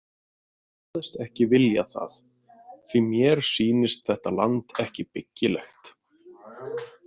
Hann kvaðst ekki vilja það- „því mér sýnist þetta land ekki byggilegt“